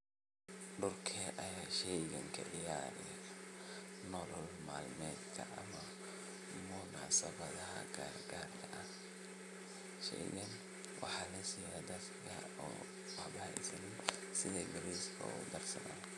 Dulka Aya sheeygan kiciyah nolol matmedka munasabaha karkar ah sheeygan waxa lasiiyah setha bariska ugu darsathan.